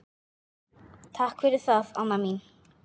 Takk fyrir það, Anna mín.